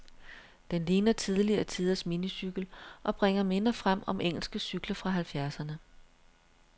Den ligner tidligere tiders minicykel, og bringer minder frem om engelske cykler fra halvfjerdserne.